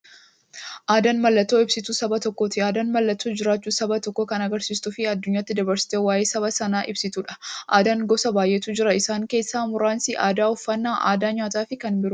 Aadaan mallattoo ibsituu saba tokkooti. Aadaan mallattoo jiraachuu saba tokkoo kan agarsiistufi addunyyaatti dabarsitee waa'ee saba sanaa ibsituudha. Aadaan gosa baay'eetu jira. Isaan keessaa muraasni aadaa, uffannaa aadaa nyaataafi kan biroo.